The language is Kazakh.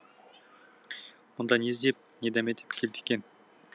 мұнда не іздеп не дәметіп келді екен